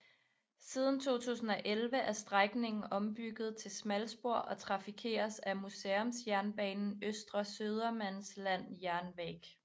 Siden 2011 er strækningen ombygget til smalspor og trafikeres af museumsjernbanen Östra Södermanlands Järnväg